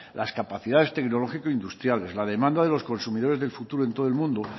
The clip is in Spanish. las capacidades tecnológico industriales la demanda de los consumidores del futuro en todo el mundo